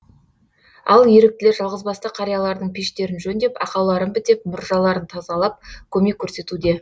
ал еріктілер жалғызбасты қариялардың пештерін жөндеп ақауларын бітеп мұржаларын тазалап көмек көрсетуде